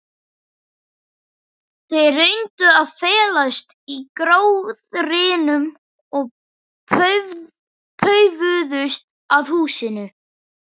Þeir reyndu að felast í gróðrinum og paufuðust að húsinu.